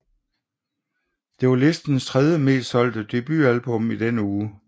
Det var listens tredjemest solgte debutalbum i den uge